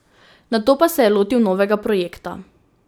Nato pa se je lotil novega projekta.